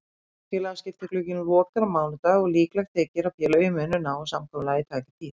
Félagaskiptaglugginn lokar á mánudag og líklegt þykir að félögin muni ná samkomulagi í tæka tíð.